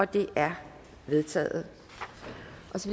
det er vedtaget